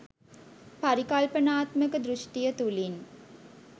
පරිකල්පනාත්මක දෘෂ්ටිය තුළින්